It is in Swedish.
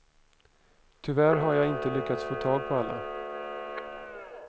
Tyvärr har jag inte lyckats få tag på alla.